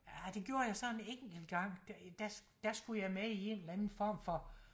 Ja det gjorde jeg så en enkelt gang der der skulle jeg med i en eller anden form for